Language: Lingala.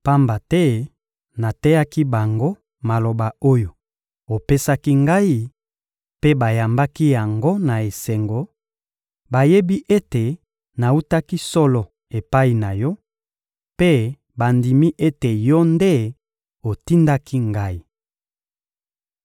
pamba te nateyaki bango maloba oyo opesaki Ngai, mpe bayambaki yango na esengo; bayebi ete nawutaki solo epai na Yo, mpe bandimi ete Yo nde otindaki Ngai.